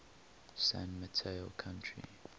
san mateo county